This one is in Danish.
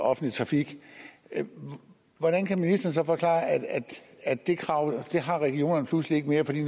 og offentlig trafik hvordan kan ministeren forklare at det krav har regionerne pludselig ikke mere fordi